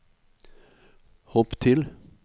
hopp til